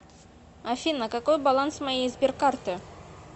афина какой баланс моей сберкарты